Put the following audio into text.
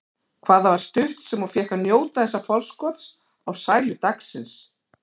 Hvað það var stutt sem hún fékk að njóta þessa forskots á sælu dagsins.